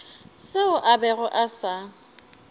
seo a bego a sa